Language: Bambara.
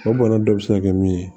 O bana dɔ bɛ se ka kɛ min ye